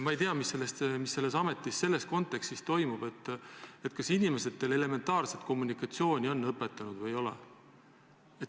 Ma ei tea, mis selles ametis selles kontekstis toimub, kas inimestele on elementaarset kommunikatsiooni õpetatud või ei ole.